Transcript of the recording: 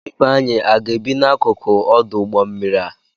Ifeanyi aga-ebi n'akụkụ ọdụ ụgbọ mmiri a?